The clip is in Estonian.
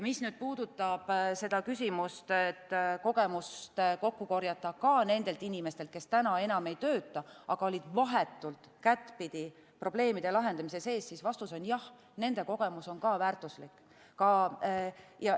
Mis puudutab küsimust, et kogemus kokku korjata ka nendelt inimestelt, kes täna enam ei tööta, aga olid vahetult kättpidi probleemide lahendamise sees, siis vastus on: jah, nende kogemus on ka väärtuslik.